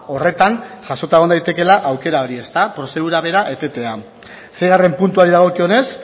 horretan jasota egon daitekela aukera hori prozedura bera etetea seigarren puntuari dagokionez